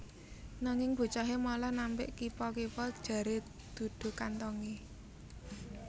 Nanging bocahé malah nampik kipa kipa jaré dudu kanthongé